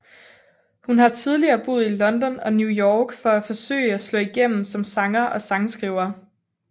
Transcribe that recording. Hun har tidligere boet i London og New York for at forsøge at slå igennem som sanger og sangskriver